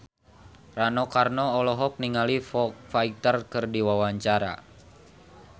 Rano Karno olohok ningali Foo Fighter keur diwawancara